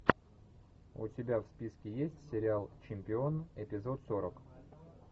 у тебя в списке есть сериал чемпион эпизод сорок